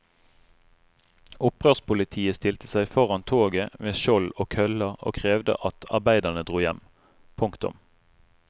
Opprørspolitiet stilte seg foran toget med skjold og køller og krevde at arbeiderne dro hjem. punktum